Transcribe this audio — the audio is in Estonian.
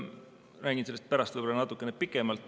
Räägin sellest pärast võib-olla natukene pikemalt.